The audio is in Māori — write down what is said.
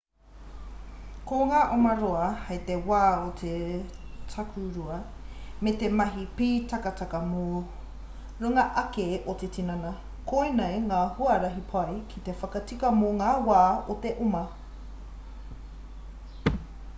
ko ngā oma roa hei te wā o te takurua me te mahi pītakataka mō runga ake o te tinana koinei ngā huarahi pai ki te whakatika mō ngā wā o te oma